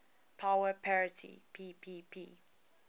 power parity ppp